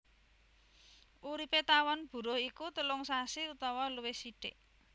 Uripé tawon buruh iku telung sasi utawa luwih sithik